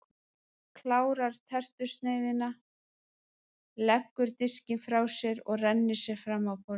Klárar tertusneiðina, leggur diskinn frá sér og rennir sér fram af borðinu.